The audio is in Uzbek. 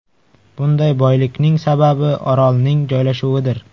Bunday boylikning sababi orolning joylashuvidir.